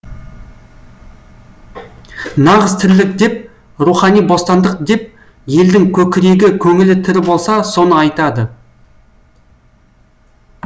нағыз тірлік деп рухани бостандық деп елдің көкірегі көңілі тірі болса соны айтады